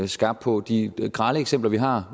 skarp på de grelle eksempler vi har